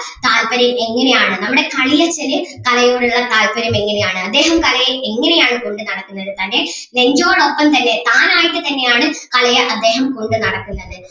താല്പര്യം ഇങ്ങനേ ആണ് നമ്മുടെ കളിയച്ഛന് കലയോട് ഉള്ള താല്പര്യം എങ്ങനെ ആണ് അദ്ദേഹം കലയെ എങ്ങനെ ആണ് കൊണ്ട് നടക്കുന്നത് തൻ്റെ നെഞ്ചോടൊപ്പം തന്നെ താനായിട്ട് തന്നെ ആണ് കലയെ അദ്ദേഹം കൊണ്ട് നടക്കുന്നത്.